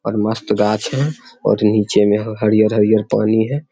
और मस्त गाछ हैं और नीचे मे हरियर-हरियर पानी है।